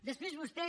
després vostè